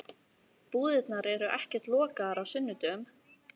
Búðirnar eru ekkert lokaðar á sunnudögum.